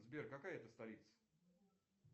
сбер какая это столица